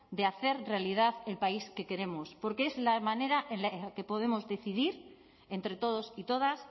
de hacer realidad el país que queremos porque es la manera en la que podemos decidir entre todos y todas